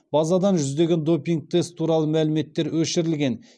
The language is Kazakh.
базадан жүздеген допинг тест туралы мәліметтер өшірілген